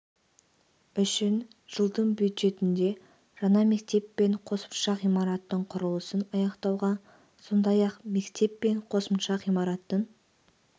үшін жылдың бюджетінде жаңа мектеп пен қосымша ғимараттың құрылысын аяқтауға сондай-ақ мектеп пен қосымша ғимараттың